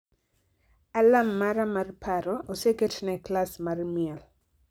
Alarm mara mar paro oseket ne klas mar miel